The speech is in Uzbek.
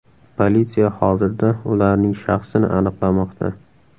Politsiya hozirda ularning shaxsini aniqlamoqda.